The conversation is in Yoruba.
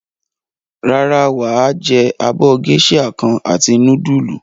Rárá, wà á jẹ abọ́ géíṣà kan àti núdúlù.